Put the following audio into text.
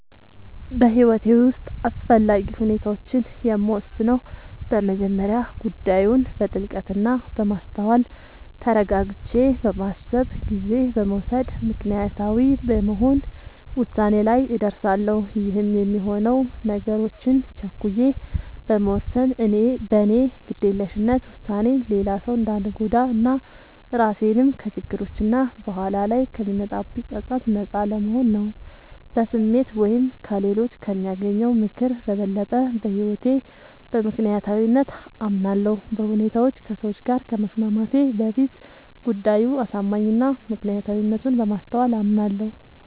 በህይወቴ ዉስጥ አስፈላጊ ዉሳኔዎችን የምወስነው በመጀመሪያ ጉዳዩን በጥልቀት እና በማስተዋል ተረጋግቼ በማሰብ ጊዜ በመዉሰድ ምክንያታዊ በመሆን ዉሳኔ ላይ እደርሳለሁ ይህም የሚሆነው ነገሮችን ቸኩዬ በመወሰን በኔ ግዴለሽነት ዉሳኔ ሌላ ሰዉ እንዳንጎዳ እና ራሴንም ከችግሮች እና በኋላ ላይ ከሚመጣብኝ ፀፀት ነጻ ለመሆን ነዉ። በስሜት ወይም ከሌሎች ከሚያገኘው ምክር በበለጠ በህይወቴ በምክንያታዊነት አምናለሁ፤ በሁኔታዎች ከሰዎች ጋር ከመስማማቴ በፊት ጉዳዩ አሳማኝ እና ምክንያታዊነቱን በማስተዋል አምናለሁ።